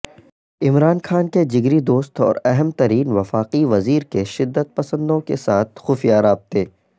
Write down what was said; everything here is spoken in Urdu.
عمران خان کے جگری دوست اوراہم ترین وفاقی وزیرکے شدت پسندوں کے ساتھ خفیہ رابطے